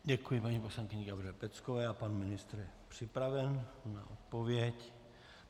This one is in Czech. Děkuji paní poslankyni Gabriele Peckové a pan ministr je připraven na odpověď.